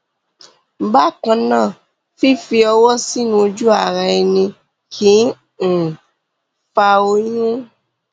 bákan náà fífi ọwọ sínú ojúara ẹni kì um í fa oyún